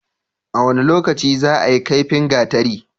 A wane lokaci zaayi kaifin gatari?